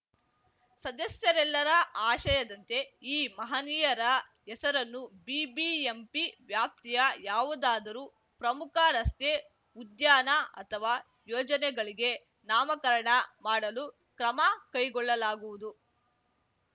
ಸದಸ್ಯರೆಲ್ಲರ ಆಶಯದಂತೆ ಈ ಮಹನೀಯರ ಹೆಸರನ್ನು ಬಿಬಿಎಂಪಿ ವ್ಯಾಪ್ತಿಯ ಯಾವುದಾದರೂ ಪ್ರಮುಖ ರಸ್ತೆ ಉದ್ಯಾನ ಅಥವಾ ಯೋಜನೆಗಳಿಗೆ ನಾಮಕರಣ ಮಾಡಲು ಕ್ರಮ ಕೈಗೊಳ್ಳಲಾಗುವುದು